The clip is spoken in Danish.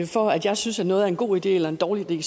vi for at jeg synes at noget er en god idé eller en dårlig idé